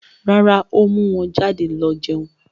Rárá, ó mú wọn jáde lọ jẹun.